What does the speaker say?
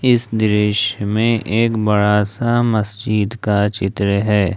इस दृश्य में एक बड़ा सा मस्जिद का चित्र है।